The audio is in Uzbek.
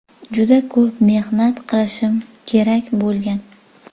Juda ko‘p mehnat qilishim kerak bo‘lgan.